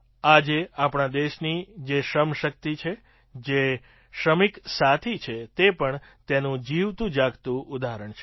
આજે આપણા દેશની જે શ્રમશક્તિ છે જે શ્રમિક સાથી છે તે પણ તેનું જીવતુંજાગતું ઉદાહરણ છે